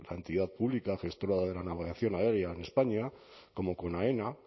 la entidad pública gestora de la navegación aérea en españa como con aena